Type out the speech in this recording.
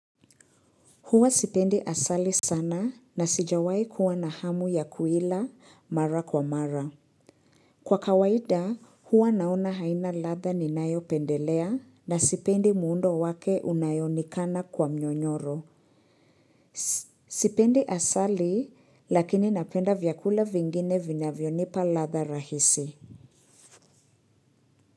Huwa sipendi asali sana na sijawai kuwa na hamu ya kuila mara kwa mara. Kwa kawaida, huwa naona haina latha ninayopendelea na sipendi muundo wake unayoonekana kwa mnyonyoro. Sipendi asali lakini napenda vyakula vingine vinyavyo nipa latha rahisi.